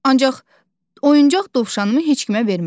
Ancaq oyuncaq dovşanımı heç kimə vermərəm.